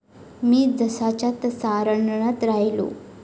मी जसाच्या तसा रणरणत राहिलो!